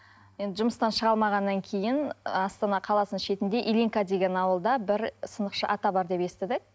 енді жұмыстан шыға алмағаннан кейін астана қаласының шетінде ильинка деген ауылда бір сынықшы ата бар деп естідік